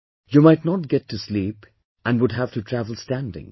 You might not get to sleep and have to travel standing